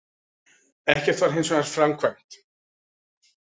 Ekkert var hins vegar framkvæmt